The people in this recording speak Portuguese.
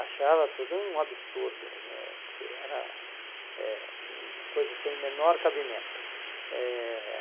Achava tudo um absurdo né, que era eh uma coisa sem o menor cabimento. Eh